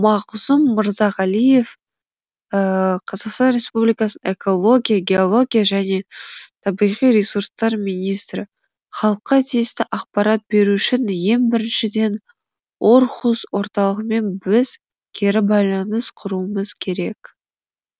мағзұм мырзағалиев қазақстан республикасының экология геология және табиғи ресурстар министрі халыққа тиісті ақпарат беру үшін ең біріншіден орхус орталығымен біз кері байланыс құруымыз керек